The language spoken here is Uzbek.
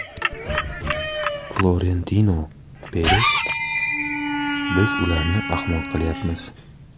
Florentino Peres: Biz ularni ahmoq qilyapmiz.